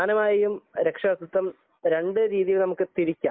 പ്രധാനമായും രക്ഷാകർതൃത്വം രണ്ടു രീതിയിൽ നമുക്ക് തിരിക്കാം